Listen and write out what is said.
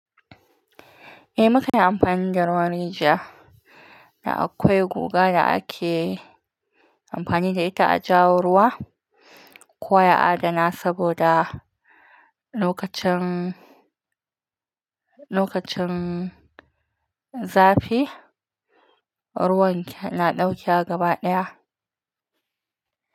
Eh mukan yi amfani da ruwan rijiya da akwai guga da ake amfani da ita a jawo ruwa, koya adana saboda lokacin, lokacin zafi ruwan na ɗauke gaba ɗaya.